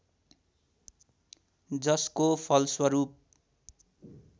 जसको फलस्वरूप